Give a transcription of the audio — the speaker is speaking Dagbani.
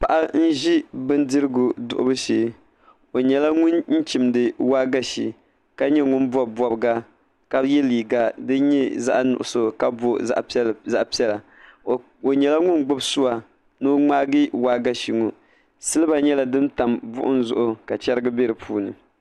Paɣa n ʒi bindirigu duɣubu shee o nyɛla ŋun chimdi waagashe ka nyɛ ŋun bob bobga ka yɛ liiga zaɣ nuɣso ka booi zaɣ piɛla o nyɛla ŋun gbubi sua ni o ŋmaagi waagashe ŋo silba nyɛla din tam buɣum zuɣu ka chɛrigi bɛ di puuni